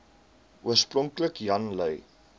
oorspronklik jan lui